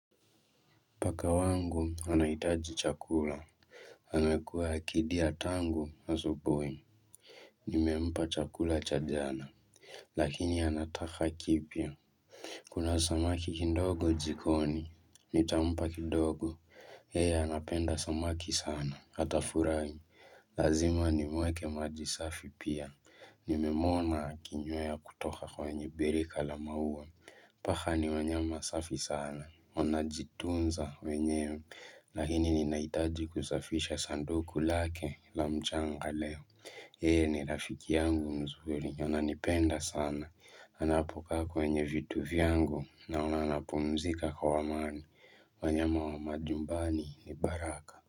Paka wangu, anaitaji chakula. Amekua akidia tangu asubuhi. Nimempa chakula cha jana, lakini anataka kipya. Kuna samaki kindogo jikoni, nitampa kidogo. Yeye anapenda samaki sana atafurahi. Lazima nimweke maji safi pia. Nimemwona akinywea kutoka kwenye birika la maua. Paka ni wanyama safi sana. Wana jitunza wenyewe, lakini ninaitaji kusafisha sanduku lake la mchanga leo Yeye ni rafiki yangu mzuri, anipenda sana Anapokaa kwenye vitu vyangu, naona anapumzika kwa wamani wanyama wa majumbani ni baraka.